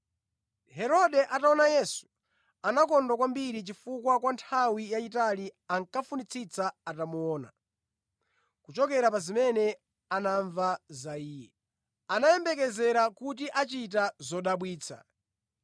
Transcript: Herode ataona Yesu, anakondwa kwambiri, chifukwa kwa nthawi yayitali, ankafunitsitsa atamuona. Kuchokera pa zimene anamva za Iye, anayembekezera kuti achita zodabwitsa.